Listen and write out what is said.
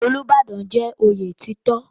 Olúbàdàn jẹ́ oyè títò.